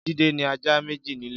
Jide ni àjá méjé nilé